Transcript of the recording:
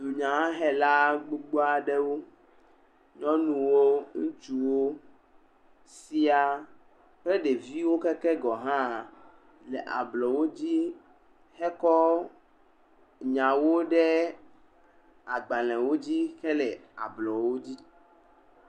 Dunyahela gbogbo aɖewo, nyɔnuwo, ŋutsuwo siaa kple ɖeviwo keke gɔhã le ablɔwo dzi hekɔ nyawo ɖe agbalẽwo dzi hele ablɔwo dzi.